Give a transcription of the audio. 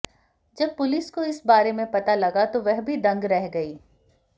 जब पुलिस को इस बारे में पता लगा तो वह भी दंग रह गई